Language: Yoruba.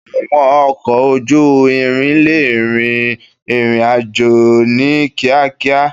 Àwọn ọkọ̀ ojú irin lè rin ìrìn àjò ní kíákíá.